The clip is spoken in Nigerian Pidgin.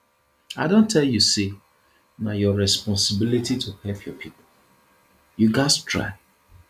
i don tell you sey na your responsibility to help your pipo you gats try